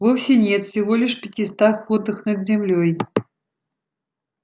вовсе нет всего лишь в пятистах футах над землёй